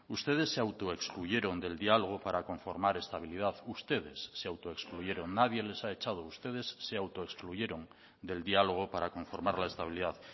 ustedes se autoexcluyeron del diálogo para conformar estabilidad ustedes se autoexcluyeron nadie les ha echado ustedes se autoexcluyeron del diálogo para conformar la estabilidad